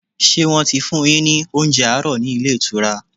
Ṣé wọ́n ti fún un yín ní oúnjẹ àárọ̀ ní ilé ìtura?